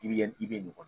I bɛ i bɛ nin